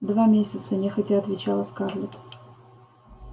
два месяца нехотя отвечала скарлетт